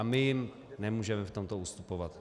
A my jim nemůžeme v tomto ustupovat.